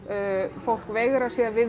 fólk veigrar sér við